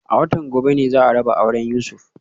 A watan gobe ne za a raba auren Yusuf